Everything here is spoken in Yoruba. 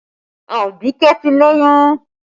Abike ti lóyún